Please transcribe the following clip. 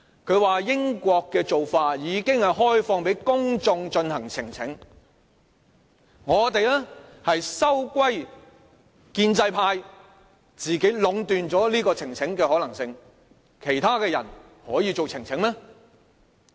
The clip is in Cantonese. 他說英國的做法是已開放給公眾進行呈請，我們則收歸建制派自己壟斷呈請的可能性，其他的人可以提出呈請嗎？